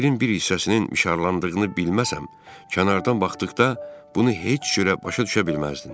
Tirin bir hissəsinin mişarlandığını bilməsəm, kənardan baxdıqda bunu heç cürə başa düşə bilməzdin.